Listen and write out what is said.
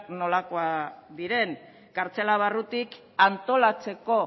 nolakoak diren kartzela barrutik antolatzeko